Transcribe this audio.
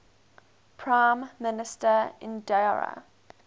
prime minister indira